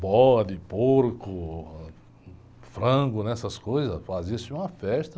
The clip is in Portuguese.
Bode, porco, frango, né, essas coisas, fazia-se uma festa.